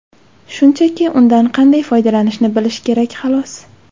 Shunchaki undan qanday foydalanishni bilish kerak, xolos.